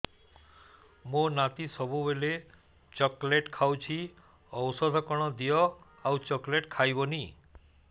ମୋ ନାତି ସବୁବେଳେ ଚକଲେଟ ଖାଉଛି ଔଷଧ କଣ ଦିଅ ଆଉ ଚକଲେଟ ଖାଇବନି